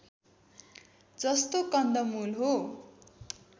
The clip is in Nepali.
जस्तो कन्दमूल हो